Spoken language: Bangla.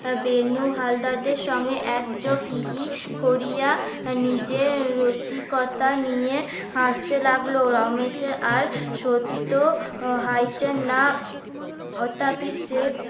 বেনু হালদারদের সঙ্গে একযোগ হি হি নিজের রসিকতা নিয়ে হাসতে লাগলো রমেশের আর সত্য সে